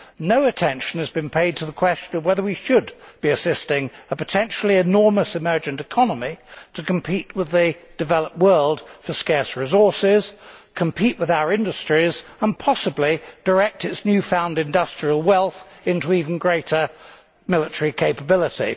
No attention has been paid to the question of whether we should be helping a potentially enormous emerging economy to compete with the developed world for scarce resources, compete with our industries and, possibly, direct its newfound industrial wealth into even greater military capability.